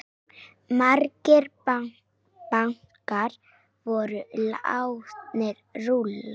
Margir bankar voru látnir rúlla.